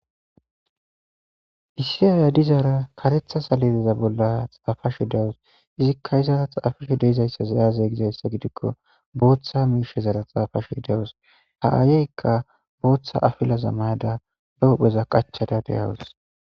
issiyaaya dizaara karetha salileza bolla xaafash dawus izikka izara txaafishe deizayssa zayazeygizayssa gidikko booththa miishezara xaafashu hidawus ha aayeykka booththa afilaza mayada ba hupheza qachada deyawus